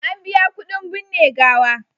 An biya kuɗin binne gawa.